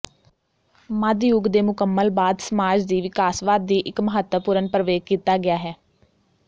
ਮੱਧ ਯੁੱਗ ਦੇ ਮੁਕੰਮਲ ਬਾਅਦ ਸਮਾਜ ਦੀ ਵਿਕਾਸਵਾਦ ਦੀ ਇੱਕ ਮਹੱਤਵਪੂਰਨ ਪ੍ਰਵੇਗ ਕੀਤਾ ਗਿਆ ਹੈ